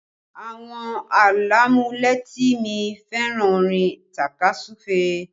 Àwọn alamuleti mi fẹ́ràn orin takasufe